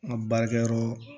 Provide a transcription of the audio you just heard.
An ka baarakɛyɔrɔ